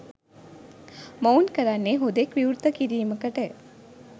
මොවුන් කරන්නේ හුදෙක් විවෘත කිරීමකට